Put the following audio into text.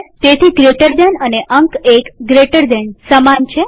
તેથી gtજમણા ખૂણાવાળો કૌંસ અને અંક૧gtએક જમણા ખૂણાવાળો કૌંસ સમાન છે